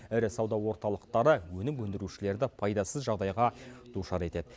ірі сауда орталықтары өнім өндірушілерді пайдасыз жағдайға душар етеді